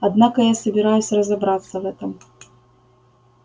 однако я собираюсь разобраться в этом